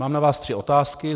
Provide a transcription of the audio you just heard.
Mám na vás tři otázky.